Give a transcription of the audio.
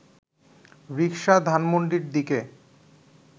রিকশা ধানমন্ডির দিকে